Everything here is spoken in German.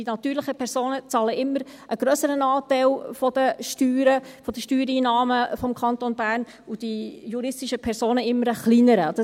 Die natürlichen Personen zahlen einen immer grösseren Anteil der Steuern, der Steuereinnahmen des Kantons Bern, und die juristischen Personen einen immer kleineren.